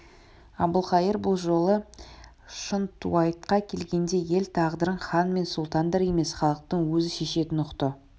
әбілқайыр бұ жолы шынтуайтқа келгенде ел тағдырын хан мен сұлтандар емес халықтың өзі шешетінін ұқты